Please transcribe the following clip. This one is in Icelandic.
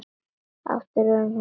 Aftur orðin hún sjálf.